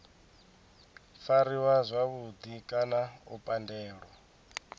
fariwa zwavhudi kana u pandelwa